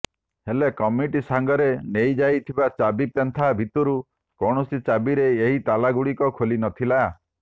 ହେଲେ କମିଟି ସାଙ୍ଗରେ ନେଇଯାଇଥିବା ଚାବି ପେନ୍ଥା ଭିତରୁ କୌଣସି ଚାବିରେ ଏହି ତାଲାଗୁଡ଼ିକ ଖୋଲି ନଥିଲା